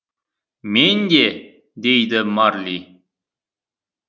мен де дейді марли